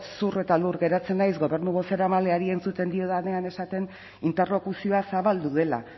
zur eta lur geratzen naiz gobernu bozeramaleari entzuten diodanean esaten interlokuzioa zabaldu dela